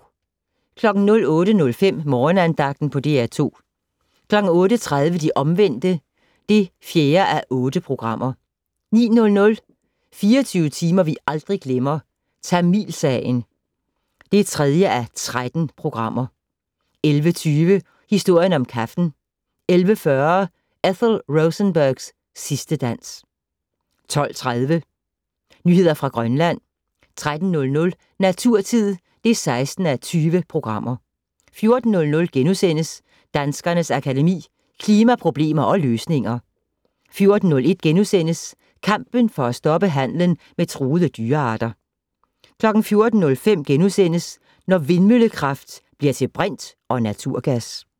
08:05: Morgenandagten på DR2 08:30: De Omvendte (4:8) 09:00: 24 timer vi aldrig glemmer - Tamilsagen (3:13) 11:20: Historien om kaffen 11:40: Ethel Rosenbergs sidste dans 12:30: Nyheder fra Grønland 13:00: Naturtid (16:20) 14:00: Danskernes Akademi: Klimaproblemer og -løsninger * 14:01: Kampen for at stoppe handelen med truede dyrearter * 14:05: Når vindmøllekraft bliver til brint og naturgas *